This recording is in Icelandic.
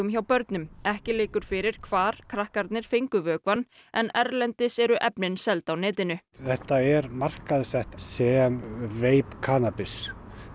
hjá börnum ekki liggur fyrir hvar krakkarnir fengu vökvann en erlendis eru efnin seld á netinu þetta er markaðssett sem veip kannabis